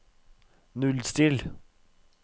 nullstill